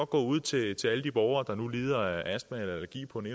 gå ud til til alle de borgere der nu lider af astma eller allergi på den